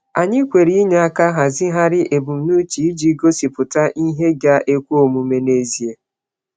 Anyị kwere inye aka hazigharị ebumnuche iji gosipụta ihe ga-ekwe omume n’ezie.